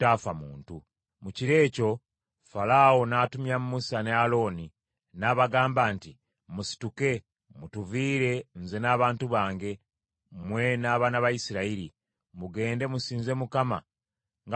Mu kiro ekyo Falaawo n’atumya Musa ne Alooni n’abagamba nti, “Musituke! Mutuviire, nze n’abantu bange, mmwe n’abaana ba Isirayiri. Mugende musinze Mukama nga bwe mwansaba.